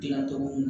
Gilan cogo kun